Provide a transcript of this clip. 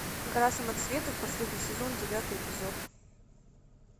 гора самоцветов последний сезон девятый эпизод